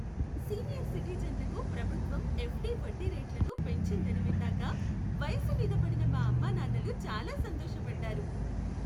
Senior సిటిజన్లకు ప్రభుత్వం FD వడ్డీ రేట్లను పెంచిందని విన్నాక వయసు మీద పడిన మా అమ్మానాన్నలు చాలా సంతోష పడ్డారు.